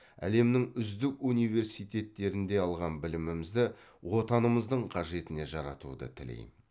әлемнің үздік университеттерінде алған білімімізді отанымыздың қажетіне жаратуды тілеймін